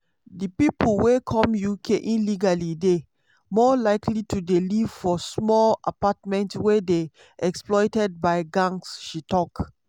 di pipo wey come uk illegally dey "more likely to dey live for small apartments wey dey exploited by gangs" she tok.